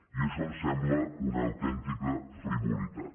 i això em sembla una autèntica frivolitat